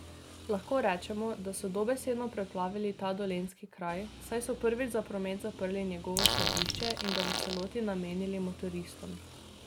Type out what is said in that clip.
Lahko rečemo, da so dobesedno preplavili ta dolenjski kraj, saj so prvič za promet zaprli njegovo središče in ga v celoti namenili motoristom.